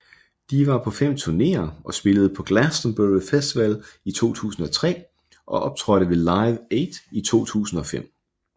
De var på fem turneer og spillede på Glastonbury Festival i 2003 og optrådte ved Live 8 i 2005